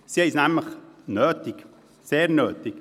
Sie haben es nämlich sehr nötig.